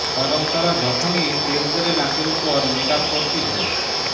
কারণ তারা যখনই তেলতেলে নাকের উপর মেকআপ করতে য